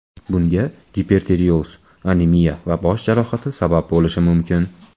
Bunga gipertireoz, anemiya va bosh jarohati sabab bo‘lishi mumkin.